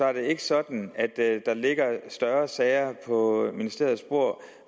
er det ikke sådan at der ligger større sager på ministeriets bord hvor